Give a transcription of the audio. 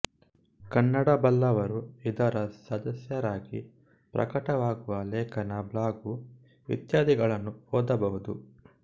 ಕನ್ನಡ ಬಲ್ಲವರು ಇದರ ಸದಸ್ಯರಾಗಿ ಪ್ರಕಟವಾಗುವ ಲೇಖನ ಬ್ಲಾಗು ಇತ್ಯಾದಿಗಳನ್ನು ಓದಬಹುದು